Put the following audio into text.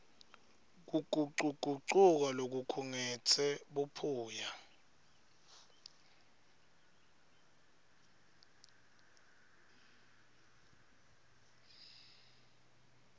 kugucugucuka lokukhungetse buphuya